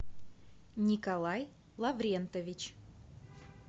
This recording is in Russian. николай лаврентович